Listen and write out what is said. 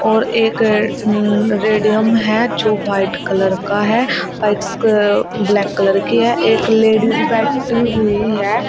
और एक रेडियम है जो व्हाइट कलर का है बाइस्क ब्लैक कलर की है एक लेडीज बैठी हुई है।